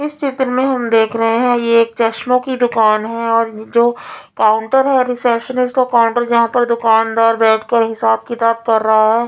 इस चित्र में हम देख रहे हैं ये एक चश्मों की दुकान है और ए जो काउंटर है रेसेप्सनिष्ट वह काउंटर जहाँ पर दुकानदार बेठ कर हिसाब-किताब कर रहा है।